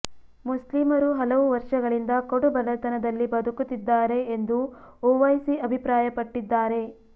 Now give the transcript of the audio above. ಮುಸ್ಲಿಮರು ಹಲವು ವರ್ಷಗಳಿಂದ ಕಡು ಬಡತನದಲ್ಲಿ ಬದುಕುತ್ತಿದ್ದಾರೆ ಎಂದು ಒವೈಸಿ ಅಭಿಪ್ರಾಯಪಟ್ಟಿದ್ದಾರೆ